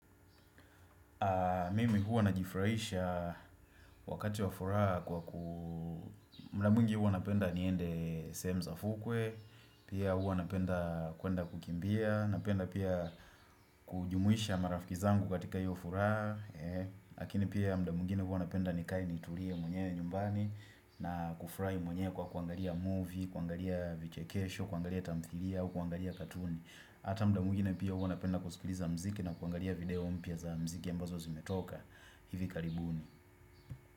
Mimi huwa najifraisha wakati wa furaa kwa ku mda mwingi huwa napenda niende sehemu za fukwe Pia huwa napenda kuenda kukimbia Napenda pia kujumuisha marafiki zangu katika hiyo furaa Lakini pia mda mwengine huwa napenda nikae niturie mwenyewe nyumbani na kufurai mwenyewe kwa kuangalia movie, kuangalia vichekesho, kuangalia tamthilia, kuangalia katuni Hata mda mwingine pia huwa napenda kusikiliza mziki na kuangalia video mpya za mziki ambazo zimetoka hivi karibuni.